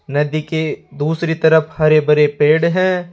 नदी के दूसरी तरफ हरे भरे पेड़ हैं।